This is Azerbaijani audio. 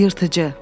Yırtıcı.